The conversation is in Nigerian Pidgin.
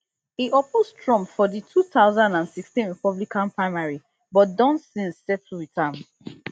e oppose trump for di two thousand and sixteen republican primary but don since settle with am